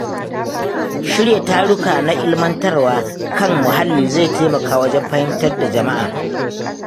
Shirya taruka na ilmantarwa kan muhalli zai taimaka wajen fahimtar da jama'a